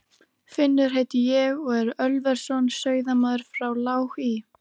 Finnur heiti ég og er Ölversson, sauðamaður frá Lág í